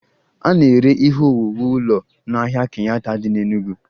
A na-ere ihe owuwu ụlọ n'ahịa Kenyatta dị n'Enugwu